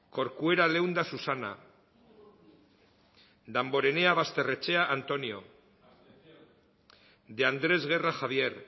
corcuera leunda susana damborenea basterrechea antonio de andrés guerra javier